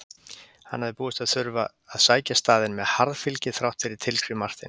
Hann hafði búist við að þurfa að sækja staðinn með harðfylgi þrátt fyrir tilskrif Marteins.